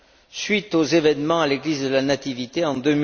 à la suite des événements à l'église de la Nativité